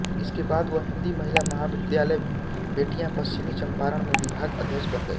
इसके बाद वह हिन्दी महिला महाविद्यालय बेट्टिया पश्चिमी चम्पारन में विभाग अध्यक्ष बन गई